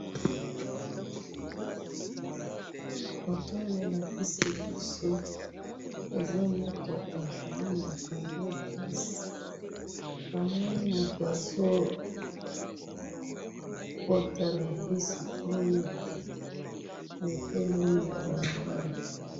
Foto oyo ba pesi biso eza mutuka ba bengaka yango bisi namoni mutu azo kota na bisi oyo etelemi na balabala.